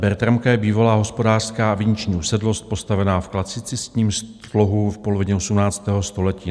Bertramka je bývalá hospodářská viniční usedlost postavená v klasicistním slohu v polovině 18. století.